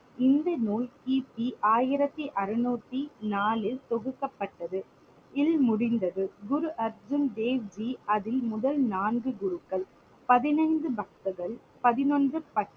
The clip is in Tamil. இந்த நூல் கிபி ஆயிரத்தி அறுநூத்தி நாலில் தொகுக்கப்பட்டது இல் முடிந்தது. குரு அர்ஜுன் தேவ் ஜி அதில் முதல் நான்கு குருக்கள் பதினைந்து பதினொன்று